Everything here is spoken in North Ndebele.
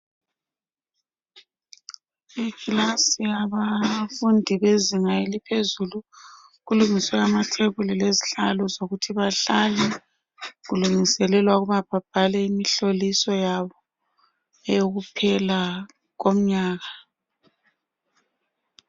Amakilasi abafundi bezenga laphezulu kulungiswe amathebuli lezihlalo zokuthi bahlale kulungiselelwa ukuba babhale imihloliso yabo eyokuphela komnyaka